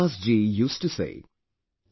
Kabirdas ji used to say,